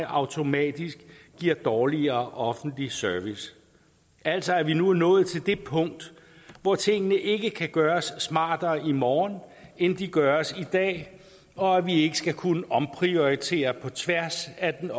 automatisk giver dårligere offentlig service altså at vi nu er nået til det punkt hvor tingene ikke kan gøres smartere i morgen end de gøres i dag og at vi ikke skal kunne omprioritere på tværs af den